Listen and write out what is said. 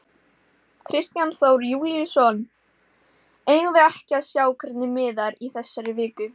Kristján Þór Júlíusson: Eigum við ekki að sjá hvernig miðar í þessari viku?